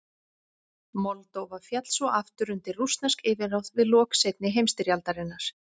Moldóva féll svo aftur undir rússnesk yfirráð við lok seinni heimstyrjaldarinnar.